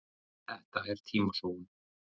Þetta er tímasóun